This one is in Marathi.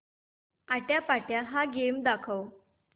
आट्यापाट्या हा गेम दाखव